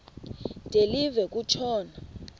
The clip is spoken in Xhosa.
de live kutshona